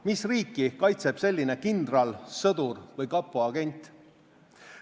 Mis riiki kaitseb selline kindral, sõdur või kapo agent?